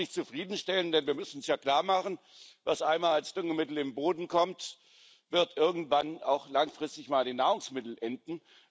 Das kann uns nicht zufriedenstellen, denn wir müssen uns ja klarmachen Was einmal als Düngemittel in den Boden kommt, wird irgendwann auch langfristig mal in den Nahrungsmitteln enden.